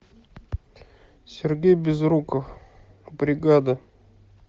сергей безруков бригада